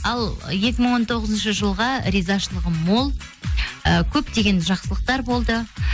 ал екі мың он тоғызыншы жылға ризашылығым мол і көптеген жақсылықтар болды